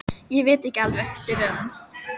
Ég veit ekki alveg. byrjaði hann.